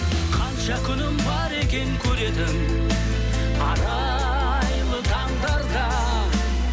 қанша күнім бар екен көретін арайлы таңдарда